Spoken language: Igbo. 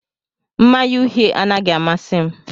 Mmanya uhie anaghị amasị m